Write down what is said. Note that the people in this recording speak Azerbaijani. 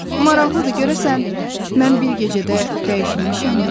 Maraqlıdır, görəsən mən bir gecədə dəyişilmişəmmi?